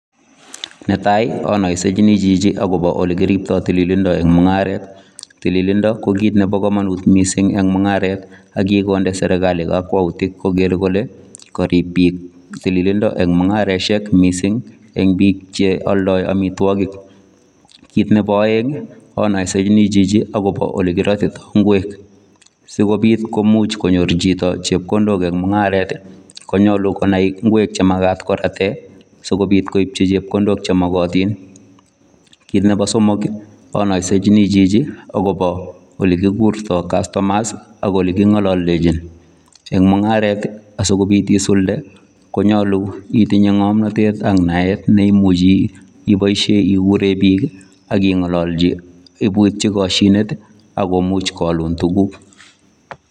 Netai anoisechini chichi akopo olekiriptoi tililindo eng mung'aret. Tililindo ko kit nepo komonut mising eng mung'aret akikonde serekali kakwoutik koker kole karip biik tililindo eng mung'areshek mising eng biik cheoldoi amitwokik. Kit nepo oeng anoisechini chichi akopo olekirotitoi ng'wek. Sikobit komuch konyor chito chepkondok eng mung'aret konyolu konai ng'wek chemakat korate sikobit koipchi chepkondok chemokotin. Kit nepo somok anoisechini chichi akopo olekikurtoi customers ak oleking'ololdechin. Eng mung'aret, asikobit isulde konyolu itinye ng'omnatet ak naet neimmuchi ipoishe ikure biik aking'ololchi ipuitchi koshinet akomuch koalun tuguk.